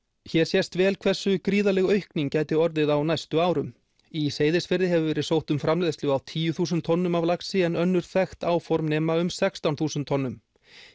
hér sést vel hversu gríðarleg aukning gæti orðið á næstu árum í Seyðisfirði hefur verið sótt um framleiðslu á tíu þúsund tonnum af laxi en önnur þekkt áform nema um sextán þúsund tonnum